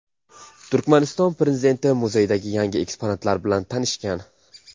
Turkmaniston prezidenti muzeydagi yangi eksponatlar bilan tanishgan.